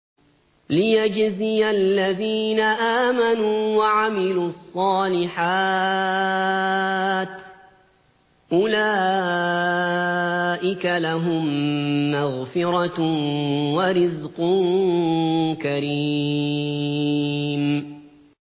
لِّيَجْزِيَ الَّذِينَ آمَنُوا وَعَمِلُوا الصَّالِحَاتِ ۚ أُولَٰئِكَ لَهُم مَّغْفِرَةٌ وَرِزْقٌ كَرِيمٌ